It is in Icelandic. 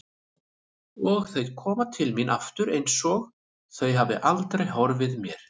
Og þau koma til mín aftur einsog þau hafi aldrei horfið mér.